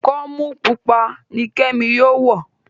ikọmu pupa ní kemi yóò wọ.